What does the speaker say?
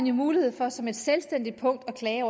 jo mulighed for som et selvstændigt punkt at klage